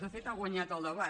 de fet ha guanyat el debat